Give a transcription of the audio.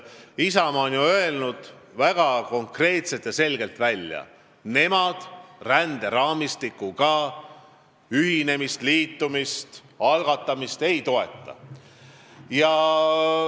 Isamaa on ju väga konkreetselt ja selgelt välja öelnud, et nemad ränderaamistikuga ühinemist, liitumist ei toeta.